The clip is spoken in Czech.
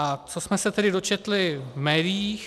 A co jsme se tedy dočetli v médiích.